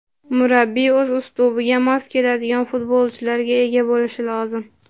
Murabbiy o‘z uslubiga mos keladigan futbolchilarga ega bo‘lishi lozim.